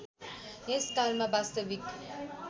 त्यस कालमा वास्तविक